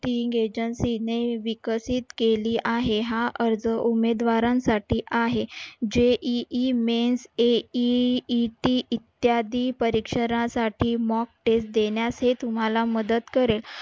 agency ने विकसित केली आहे. हा अर्ज उमेदवारांसाठी आहे. JEE Mains AEET इत्यादि परीक्षरांसाठी mock test देण्यासही तुम्हाला मदत करेल.